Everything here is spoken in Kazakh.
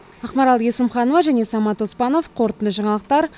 ақмарал есімханова және самат оспанов қорытынды жаңалықтар